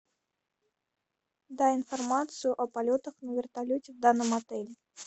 дай информацию о полетах на вертолете в данном отеле